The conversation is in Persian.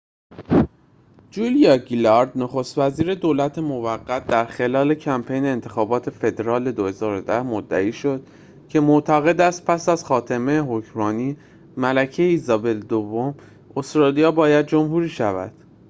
جولیا گیلارد نخست وزیر دولت موقت در خلال کمپین انتخابات فدرال ۲۰۱۰ مدعی شد که معتقد است پس از خاتمه حکمرانی ملکه الیزابت دوم استرالیا باید جمهوری شود